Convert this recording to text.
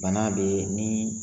Bana bɛ ni